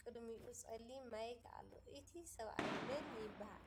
ቅድሚኡ ፀሊም ማይክ ኣሎ ። እቲ ስብኣይ ምን ይበሃል ?